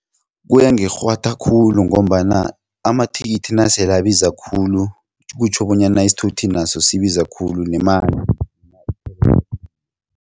Kuyangikghwatha khulu ngombana amathikithi nasele abiza khulu kutjho bonyana isithuthi naso sibiza khulu